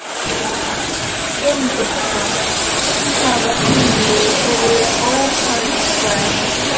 Haraldur Benediktsson: Hvaða býli eru óhagkvæm?